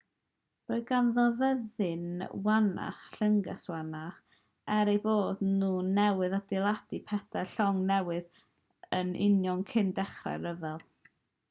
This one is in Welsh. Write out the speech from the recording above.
roedd ganddo fyddin wannach a llynges wannach er eu bod nhw newydd adeiladu pedair llong newydd yn union cyn dechrau'r rhyfel